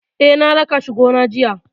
Eh, na raka shi gona jiya.